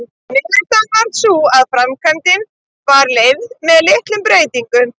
Niðurstaðan varð sú að framkvæmdin var leyfð með litlum breytingum.